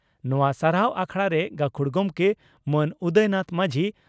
ᱱᱚᱣᱟ ᱥᱟᱨᱦᱟᱣ ᱟᱠᱷᱲᱟᱨᱮ ᱜᱟᱹᱠᱷᱩᱲ ᱜᱚᱢᱠᱮ ᱢᱟᱹᱱ ᱩᱫᱚᱭᱱᱟᱛᱷ ᱢᱟᱹᱡᱷᱤ